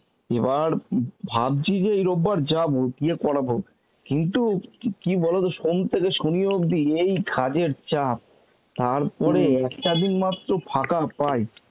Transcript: এবার উম ভাবছি যে এই রোববার যাব, গিয়ে করাব কিন্তু কি বলতো সোম থেকে শনি অবধি এই কাজের চাপ তারপরে একটা দিন মাত্র ফাঁকা পাই